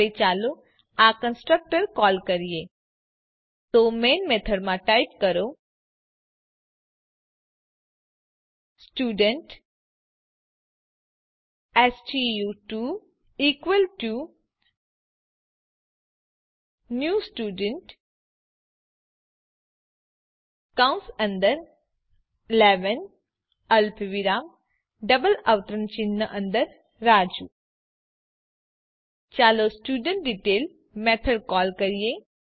હવે ચાલો આ કન્સ્ટ્રક્ટર કોલ કરીએ તો મેઈન મેથડમાં ટાઇપ કરો સ્ટુડન્ટ સ્ટુ2 ઇકવલ ટુ ન્યૂ સ્ટુડન્ટ કૌસ અંદર 11 અલ્પવિરામ ડબલ અવતરણ ચિહ્ન અંદર રાજુ ચાલો સ્ટુડેન્ટડિટેઇલ મેથડ કોલ કરીએ